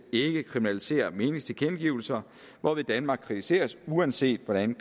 ikke kriminalisere meningstilkendegivelser hvorved danmark kritiseres uanset hvordan